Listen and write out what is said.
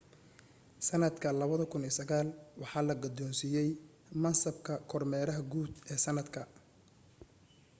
sanadka 2009 waxaa la gudoonsiiyay mansabka kormeeraha guud ee sanadka